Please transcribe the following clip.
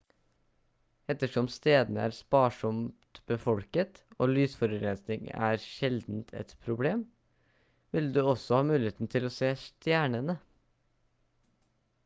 ettersom stedene er sparsomt befolket og lysforurensning sjeldent er et problem vil du også ha mulighet til å se stjernene